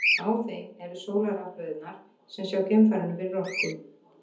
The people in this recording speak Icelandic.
Á þeim eru sólarrafhlöðurnar sem sjá geimfarinu fyrir orku.